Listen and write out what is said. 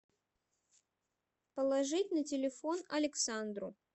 положить на телефон александру